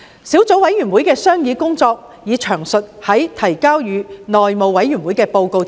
小組委員會的商議工作已在提交內務委員會的報告中詳述。